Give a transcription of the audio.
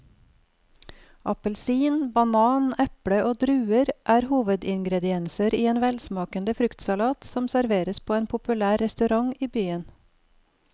Appelsin, banan, eple og druer er hovedingredienser i en velsmakende fruktsalat som serveres på en populær restaurant i byen.